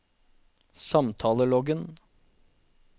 samtaleloggen